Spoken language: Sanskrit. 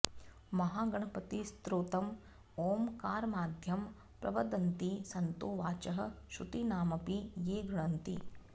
महागणपतिस्तोत्रम् ॐकारमाद्यं प्रवदन्ति सन्तो वाचः श्रुतिनामपि ये गृणन्ति